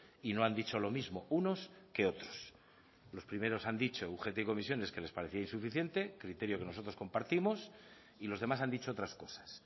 y no han dicho lo mismo unos que otros los primeros han dicho ugt y comisiones que les parecía insuficiente criterio que nosotros compartimos y los demás han dicho otras cosas